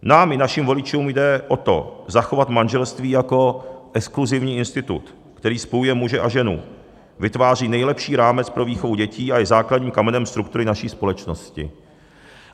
Nám i našim voličům jde o to, zachovat manželství jako exkluzivní institut, který spojuje muže a ženu, vytváří nejlepší rámec pro výchovu dětí a je základním kamenem struktury naší společnosti.